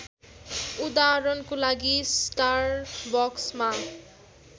उदहारणको लागि स्टारबक्समा